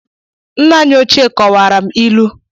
Nna anyị ochie kọwara m ilu